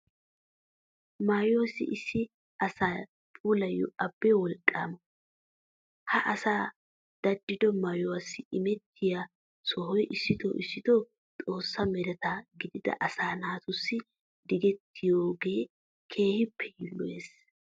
Maayuwassi issi asa puulayiyo abbee wolqqaama. Ha asi daddido maayuwassi imettiya sohoy issitoo issitoo xoossa mereta gidida asaa naatussi digettiyogee keehippe yiilloyees.